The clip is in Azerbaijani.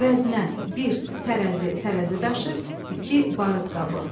Vəznə, bir, tərəzi, tərəzi daşı, iki, barıt qabı.